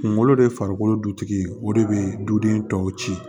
Kunkolo de ye farikolo dutigi ye o de bɛ duden tɔw ci